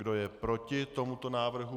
Kdo je proti tomuto návrhu?